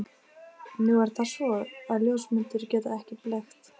Nú er það svo, að ljósmyndir geta blekkt.